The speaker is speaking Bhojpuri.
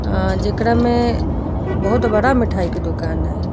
अ जेकरा में बहुत बड़ा मिठाई के दुकान ह ई।